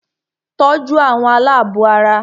Tọ́jú àwọn alábọ̀ara!